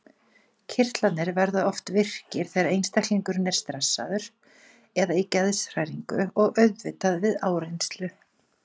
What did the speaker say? Kirtlarnir verða oft virkir þegar einstaklingurinn er stressaður eða í geðshræringu og auðvitað við áreynslu.